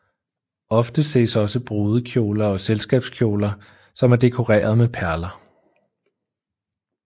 Ofte ses også brudekjoler og selskabskjoler som er dekoreret med perler